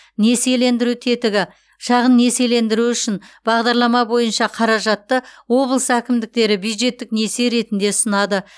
несиелендіру тетігі шағын несиелендіру үшін бағдарлама бойынша қаражатты облыс әкімдіктері бюджеттік несие ретінде ұсынады